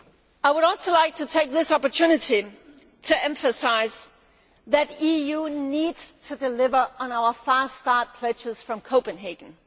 I would also like to take this opportunity to emphasise that the EU needs to deliver on our fast start pledges from Copenhagen.